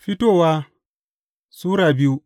Fitowa Sura biyu